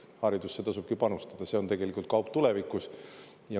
Haridusse tasubki panustada, see on tegelikult kaup tulevikus.